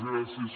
gràcies